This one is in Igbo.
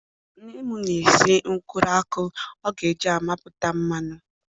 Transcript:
Nne m na-esi nkwụrụ akwụ ọ ga-eji amịpụta mmanụ